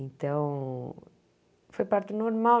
Então... Foi parto normal.